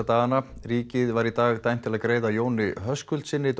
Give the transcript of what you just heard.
dagana ríkið var í dag dæmt til að greiða Jóni Höskuldssyni